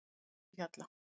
Fífuhjalla